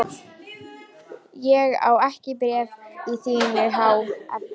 Ég á ekki bréf í þínu há effi.